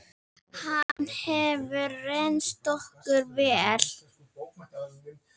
Hann hefur reynst okkur vel.